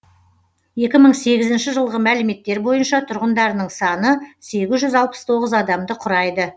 екі мың сегізінші жылғы мәліметтер бойынша тұрғындарының саны сегіз жүз алпыс тоғыз адамды құрайды